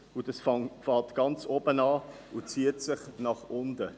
Diese beginnt ganz oben und zieht sich nach unten.